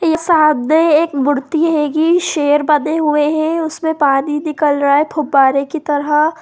ये सामने एक मूर्ति हैगी शेर बने हुए है उसमें पानी निकल रहा है फव्वारे की तरह।